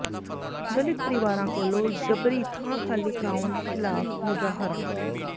ਦਲਿਤ ਪਰਿਵਾਰਾਂ ਕੋਲੋਂ ਜਬਰੀ ਥਾਂ ਖਾਲੀ ਕਰਵਾਉਣ ਖ਼ਿਲਾਫ਼ ਮੁਜ਼ਾਹਰਾ